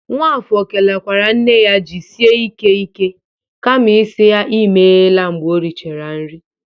Nwaka kelekwara nne ya jisike ike kama isi ya imela mgbe o richara nri.